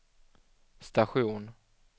station